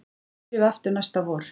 Svo byrjum við aftur næsta vor